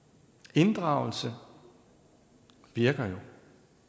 inddragelse virker jo